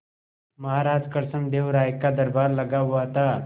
महाराज कृष्णदेव राय का दरबार लगा हुआ था